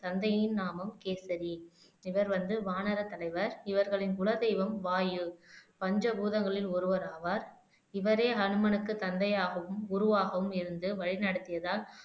தந்தையின் நாமம் கேசரி இவர் வந்து வானர தலைவர் இவர்களின் குலதெய்வம் வாயு பஞ்சபூதங்களில் ஒருவராவார் இவரே ஹனுமனுக்கு தந்தையாகவும் குருவாகவும் இருந்து வழி நடத்தியதால்